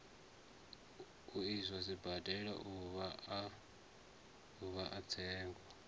iswa sibadela uvha a tsengo